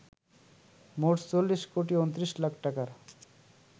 মোট ৪৪ কোটি ২৯ লাখ টাকার